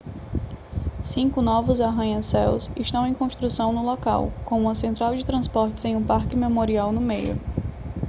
cinco novos arranha-céus estão em construção no local com uma central de transportes e um parque memorial no meio